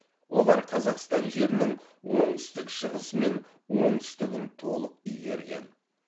олар қазақстан жерінің оңтүстік шығысы мен оңтүстігін толық игерген